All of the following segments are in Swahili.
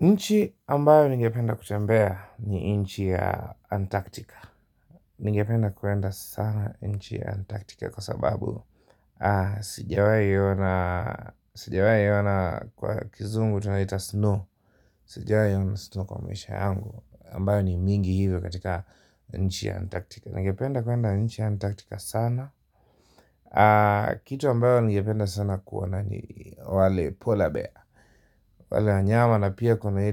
Nchi ambayo ningependa kutembea ni nchi ya antarktika ningependa kuenda sana nchi ya antarktika kwa sababu sijawahi ona kwa kizungu tunaita snow sijawahi ona snow kwa maisha yangu ambayo ni mingi hivyo katika nchi ya antarktika ningependa kwenda nchi ya antarktika sana kitu ambayo ningependa sana kuona ni wale polar bear wale wanyama na pia kuna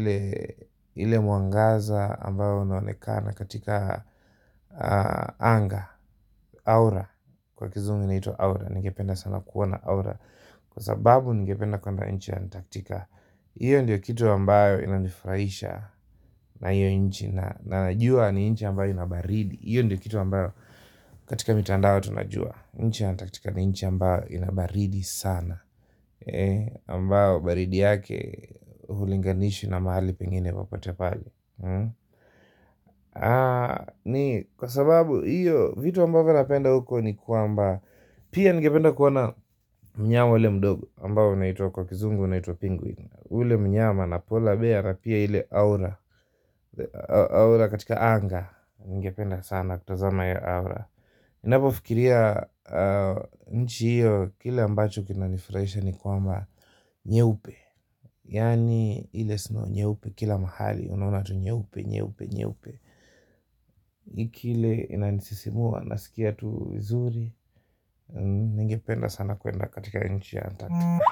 ile mwangaza ambao unaonekana katika anga, aura kwa kizungu inaitwa aura, ningependa sana kuwa na aura kwa sababu ningependa kwenda nchi ya Antaktika hiyo ndio kitu ambayo inanifurahisha na hiyo nchi na najua ni nchi ambayo ina baridi hiyo ndio kitu ambayo katika mitandao tunajua nchi ya Antarktika ni nchi ambayo ina baridi sana ambao baridi yake hulinganishi na mahali pengine popote pale ni kwa sababu hiyo vitu ambavo napenda huko ni kwamba pia ningependa kuona mnyama ule mdogo ambao unaitwa kwa kizungu unaitwa penguin ule mnyama na polar bear na pia ile aura aura katika anga ningependa sana kutazama hiyo aura ninapofikiria nchi hiyo kile ambacho kinanifurahisha ni kwamba nyeupe, yaani ile snow nyeupe kila mahali unaona tu nyeupe, nyeupe, nyeupe kile inanisisimua, nasikia tu vizuri ningependa sana kuenda katika nchi ya Antarktika.